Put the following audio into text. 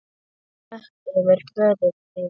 Moka yfir föður minn.